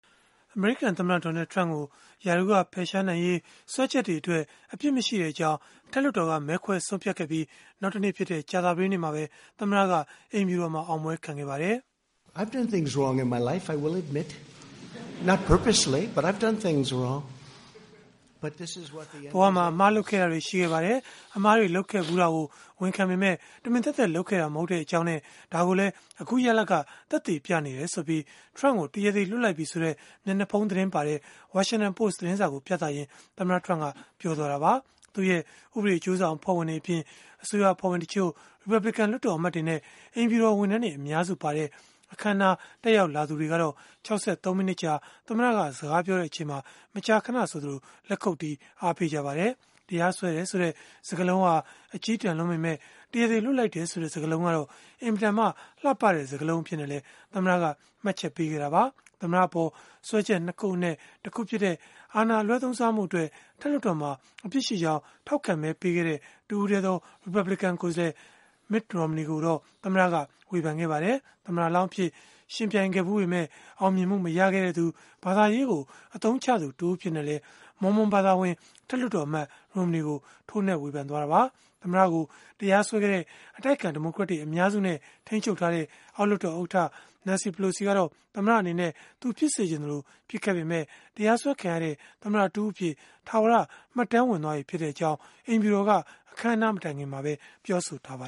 အမေရိကန်သမ္မတ Donald Trump ကို ရာထူးကဖယ်ရှားနိုင်ရေး စွဲချက်တွေအတွက် အပြစ်မရှိကြောင်း အထက်လွှတ်တော်က မဲခွဲဆုံးဖြတ်ခဲ့ပြီး နောက်တနေ့ဖြစ်တဲ့ ကြာသပတေးနေ့မှာပဲ သမ္မတက အိမ်ဖြူတော်မှာ အောင်ပွဲခံခဲ့ပါတယ်။ “ဘဝမှာ အမှားလုပ်ခဲ့တာတွေ ရှိခဲ့ပါတယ်။ အမှားတွေ လုပ်ခဲ့ဖူးတာကို ဝန်ခံပေမယ့် တမင်သက်သက် လုပ်ခဲ့တာ မဟုတ်ကြောင်းနဲ့ ဒါကိုလည်း အခုရလဒ်က သက်သေပြနေတယ်” ဆိုပြီး Trump ကို တရားသေလွှတ်လိုက်ပြီဆိုတဲ့ မျက်နှာဖုံးသတင်းပါတဲ့ Washington Post သတင်းစာကို ပြသရင်း သမ္မတ Trump ကပြောလိုက်တာပါ။ သူ့ရဲ့ ဥပဒေအကျိုးဆောင် အဖွဲ့ဝင်တွေအပြင် အစိုးရအဖွဲ့ဝင်တချို့၊ ရီပတ်ဘလစ်ကန် လွှတ်တော်အမတ်တွေနဲ့ အိမ်ဖြူတော် ဝန်ထမ်းတွေ အများစုပါတဲ့ အခမ်းအနား တက်ရောက်လာသူတွေကတော့ ၆၃ မိနစ်ကြာ သမ္မတက စကားပြောနေချိန်မှာ မကြာခဏဆိုသလို လက်ခုပ်တီး အားပေးခဲ့ကြပါတယ်။ တရားစွဲတယ်ဆိုတဲ့ စကားလုံးဟာ အကျည်းတန်လွန်းပေမဲ့ တရားသေလွှတ်လိုက်တယ်ဆိုတဲ့ စကားလုံးကတော့ အင်မတန်မှ လှပတဲ့စကားလုံး အဖြစ်နဲ့လည်း သမ္မတက မှတ်ချက်ပေးခဲ့တာပါ။ သမ္မတအပေါ် စွဲချက် ၂ ခုအနက် တခုဖြစ်တဲ့ အာဏာအလွဲသုံးစားမှုအတွက် အထက်လွှတ်တော်မှာ အပြစ်ရှိကြောင်း ထောက်ခံမဲပေးခဲ့တဲ့ တစ်ဦးတည်းသော ရီပတ်ဘလစ်ကန် ကိုယ်စားလှယ် Mitt Romney ကိုတော့ သမ္မတက ဝေဖန်ခဲ့ပါတယ်။ သမ္မတလောင်းအဖြစ် ယှဉ်ပြိုင်ခဲ့ဖူးပေမဲ့ အောင်မြင်မှုမရခဲ့သူ၊ ဘာသာရေးကို အသုံးချသူတဦးအဖြစ်နဲ့လည်း Mormon ဘာသာဝင် အထက်လွှတ်တော်အမတ် Romney ကို ထိုးနှက်ဝေဖန်ခဲ့တာပါ။ သမ္မတကို တရားစွဲခဲ့တဲ့ အတိုက်အခံဒီမိုကရက်တွေ အများစုနဲ့ ထိန်းချုပ်ထားတဲ့ အောက်လွှတ်တော် ဥက္ကဋ္ဌ Nancy Pelosi ကတော့ သမ္မတအနေနဲ့ သူဖြစ်စေချင်သလို ဖြစ်ခဲ့ပေမဲ့ တရားစွဲခံရတဲ့ သမ္မတတဦးအဖြစ် ထာဝရ မှတ်တမ်းဝင် သွားပြီဖြစ်ကြောင်း အိမ်ဖြူတော်က အခမ်းအနား မတိုင်ခင်မှာပဲ ပြောဆိုထားပါ